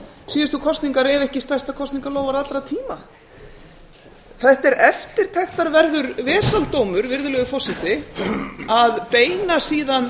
síðustu kosningar ef ekki stærsta kosningaloforð allra tíma þetta er eftirtektarverður vesaldómur að beina síðan